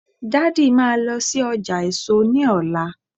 daddy ma lo sí ọjà èso ní ọlá